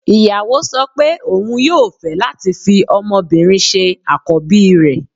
Ìyàwó sọ pé òun yóò fẹ́ láti fi ọmọbìnrin ṣe àkọ́bí rẹ̀